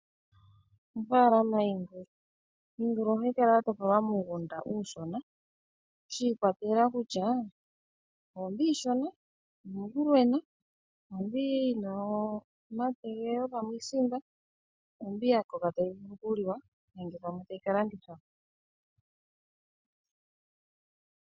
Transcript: Ofaalama yiingulu, Iingulu oha yi kala ya topolwa muugunda uushona shi ikwatelela kutya, oombi iishona, oombi iinene, ombi yina omategelelo(pamwe iisimba), oombi ya koka ta yi vulu oku liwa nenge pamwe ta yi ka landithwa po.